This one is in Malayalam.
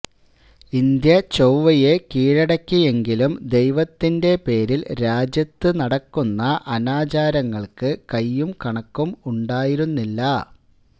ഇന്ത്യ ചൊവ്വയെ കീഴടക്കിയെങ്കിലും ദൈവത്തിന്റെ പേരിൽ രാജ്യത്ത് നടക്കുന്ന അനാചാരങ്ങൾക്ക് കൈയും കണക്കും ഉണ്ടായിരുന്നില്ല